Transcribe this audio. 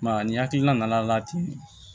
Maa ni hakilina nana ten